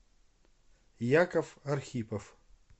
яков архипов